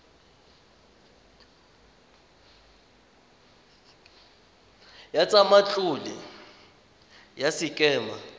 ya tsa matlole ya sekema